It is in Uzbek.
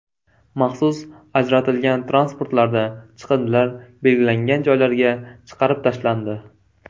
Maxsus ajratilgan transportlarda chiqindilar belgilangan joylarga chiqarib tashlandi.